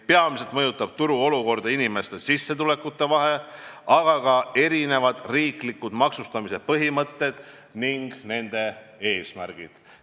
Peamiselt mõjutab turuolukorda inimeste sissetulekute vahe, aga ka erinevad riiklikud maksustamise põhimõtted ning nende eesmärgid.